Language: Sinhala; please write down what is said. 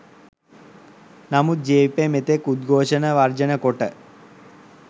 නමුත් ජවිපෙ මෙතෙක් උද්ගෝෂණ වර්ජන කොට